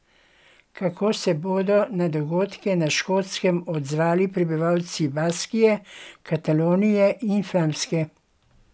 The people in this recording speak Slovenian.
Kako se bodo na dogodke na Škotskem odzvali prebivalci Baskije, Katalonije in Flamske?